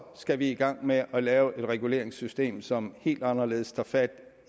skal vi i gang med at lave et reguleringssystem som helt anderledes tager fat